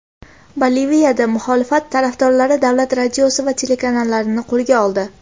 Boliviyada muxolifat tarafdorlari davlat radiosi va telekanalini qo‘lga oldi.